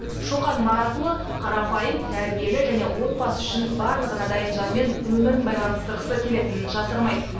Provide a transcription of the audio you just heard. шоқан маратұлы қарапайым тәрбиелі және отбасы үшін барлығына дайын жанмен өмірін байланыстырғысы келетінін жасырмайды